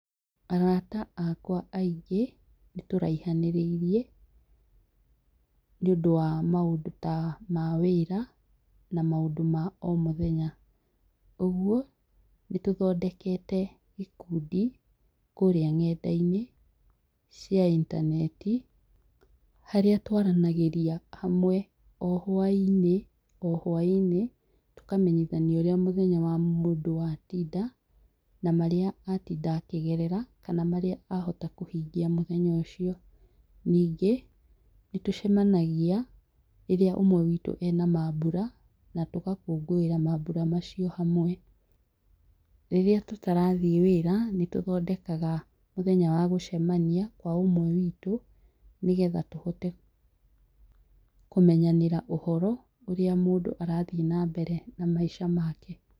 Arata akwa aingĩ nĩtũraihanĩrĩirie nĩ ũndũ wa maũndũ ta ma wĩra, na maũndũ ma o mũthenya. ũguo, nĩ tũthondekete ikundi kũrĩa nenda-inĩ, cia intaneti, harĩa twaranagĩria hamwe o hwa-inĩ,o hwa-inĩ, tũkamenyithania ũrĩa mũthenya wa mũndũ watinda, na marĩa atinda akĩgerera, kana marĩa ahota kũhingia mũthenya ũcio. Ningĩ, nĩ tũcemanagia rĩrĩa ũmwe witũ e na maambura, na tũgakũngũĩra maambura macio hamwe. Rĩrĩa tũtarathiĩ wĩra, nĩ tũthondekaga mũthenya wa gũcemania kwa ũmwe witũ, nĩ getha tũhote kũmenyanĩra ũhoro, ũrĩa mũndũ arathiĩ na mbere na maica make.